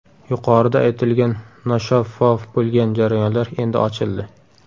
Yuqorida aytilgan noshaffof bo‘lgan jarayonlar endi ochildi.